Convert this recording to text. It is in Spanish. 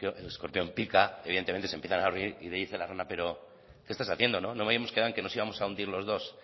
el escorpión pica evidentemente se empiezan a hundir y le dice la rana pero qué estás haciendo no habíamos quedado que nos íbamos a hundir los dos